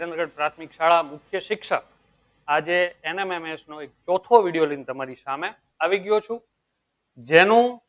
મુખ્ય શિક્ષક આજે mmms નું ચોથો video લઇ ને તમારો સામે આવી ગયો છું